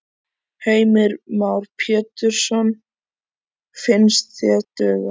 Heimir Már Pétursson: Finnst þér duga?